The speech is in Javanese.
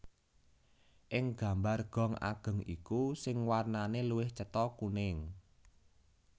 Ing gambar gong ageng iku sing warnane luwih cetha kuning